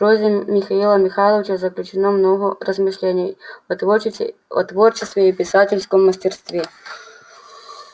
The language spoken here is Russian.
в прозе михаила михайловича заключено много размышлений о творчестве и писательском мастерстве